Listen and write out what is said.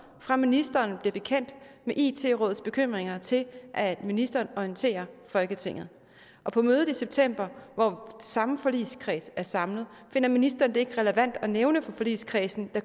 fra ministeren bliver bekendt med it rådets bekymringer til at ministeren orienterer folketinget og på mødet i september hvor samme forligskreds er samlet finder ministeren det ikke relevant at nævne for forligskredsen at